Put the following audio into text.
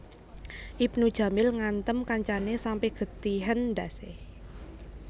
Ibnu Jamil ngantem kancane sampe getihen ndhas e